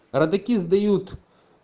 родаки сдают